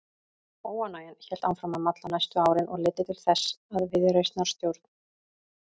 Óánægjan hélt áfram að malla næstu árin og leiddi til þess að viðreisnarstjórn